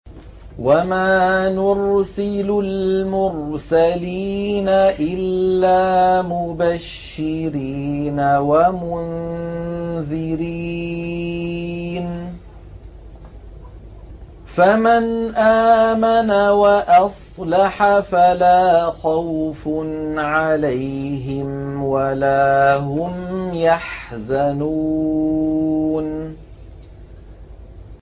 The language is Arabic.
وَمَا نُرْسِلُ الْمُرْسَلِينَ إِلَّا مُبَشِّرِينَ وَمُنذِرِينَ ۖ فَمَنْ آمَنَ وَأَصْلَحَ فَلَا خَوْفٌ عَلَيْهِمْ وَلَا هُمْ يَحْزَنُونَ